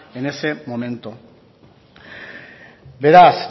en ese momento beraz